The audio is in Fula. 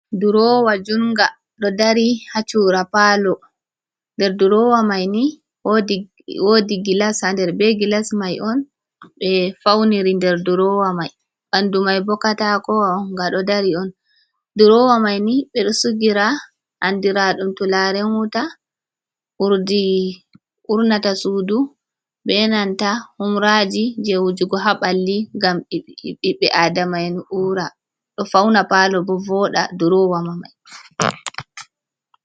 Duroowa junnga ɗo dari haa cuura paalo, nder duroowa mai ni woodi gilas haa nder, be gilas mai on ɓe fawniri nder duroowa mai. Ɓanndu mai bo katakowa on nga ɗo dari on, duroowa mai ni, ɓe ɗo sigira anndiraaɗum turaaren wuta, urdiigi, urnata suudu, be nanta humraaji je wujugo haa ɓalli, ngam ɓiɓɓe adama’en, ɗo fawna paalo bo vooɗa duroowa mai.